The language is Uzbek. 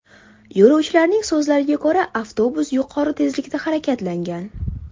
Yo‘lovchilarning so‘zlariga ko‘ra, avtobus yuqori tezlikda harakatlangan.